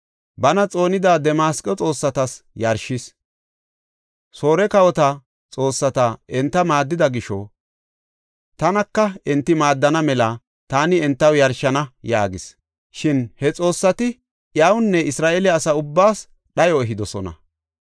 Bana xoonida Damasqo xoossatas yarshishe, “Soore kawota xoossati enta maaddida gisho tanaka enti maaddana mela taani entaw yarshana” yaagis. Shin he xoossati iyawunne Isra7eele asaa ubbaas dhayo ehidosona.